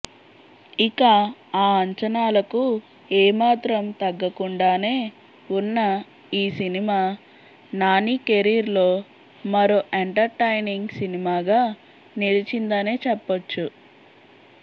ఇక ఆ అంచనాలకు ఏమాత్రం తగ్గకుండానే ఉన్న ఈ సినిమా నాని కెరీర్లో మరో ఎంటర్టైనింగ్ సినిమాగా నిలిచిందనే చెప్పొచ్చు